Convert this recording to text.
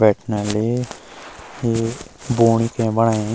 बैठना ले ये बूणी के बणेयां।